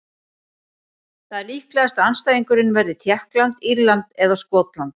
Það er líklegast að andstæðingurinn verði Tékkland, Írland eða Skotland.